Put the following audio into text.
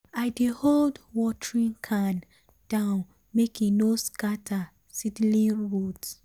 i dey hold um watering can um down make e no scatter um seedling root.